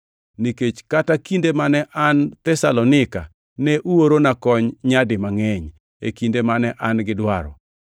nikech kata kinde mane an Thesalonika ne uorona kony nyadi mangʼeny e kinde mane an gi dwaro.